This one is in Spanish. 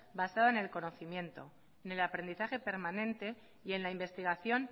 basada en el conocimiento en el aprendizaje permanente y en la investigación